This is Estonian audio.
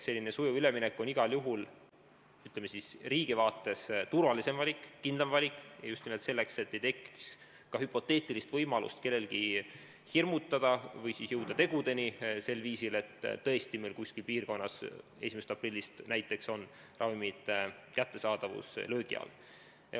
Selline sujuv üleminek on igal juhul, ütleme, riigi vaates turvalisem valik, kindlam valik, just nimelt selleks, et kellelgi ei tekiks ka hüpoteetilist võimalust hirmutada või jõuda selliste tegudeni, et tõesti kuskil piirkonnas on näiteks 1. aprillist ravimite kättesaadavus löögi all.